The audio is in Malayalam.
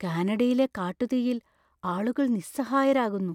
കാനഡയിലെ കാട്ടുതീയിൽ ആളുകൾ നിസ്സഹായരാകുന്നു.